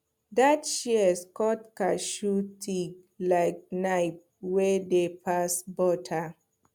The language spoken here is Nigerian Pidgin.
that shears cut cashew tig like knife wey dey pass butter